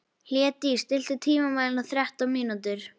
Hlédís, stilltu tímamælinn á þrettán mínútur.